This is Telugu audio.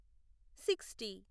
సిక్స్టీ